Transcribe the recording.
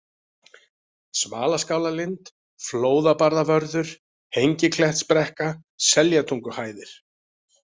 Smalaskálalind, Flóðabarðavörður, Hengiklettsbrekka, Seljatunguhæðir